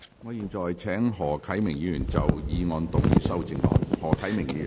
我現在請何啟明議員就議案動議修正案。